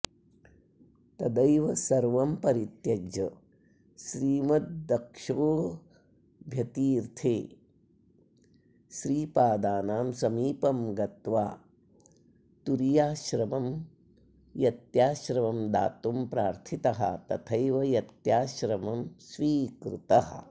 तदैव सर्वं परित्यज्य श्रीमदक्षोभ्यतीर्थे श्रीपादानां समीपं गत्वा तुरीयाश्रमं यत्याश्रमं दातुं प्रार्थितः तथैव यत्याश्रमं स्वीकृतः